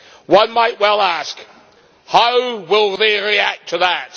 One might well ask how will they react to that?